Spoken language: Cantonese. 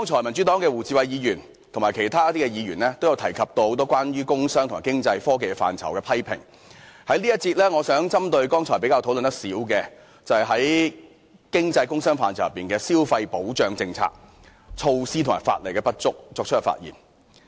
民主黨的胡志偉議員及其他議員剛才都有提及很多關於工商、經濟及科技範疇的批評，我在這一節想針對剛才討論較少的題目發言，就是經濟、工商範疇的消費保障政策、措施及法例的不足。